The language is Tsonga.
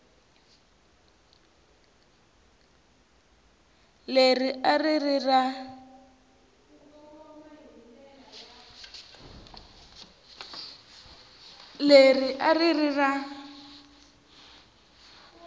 leri a ri ri ra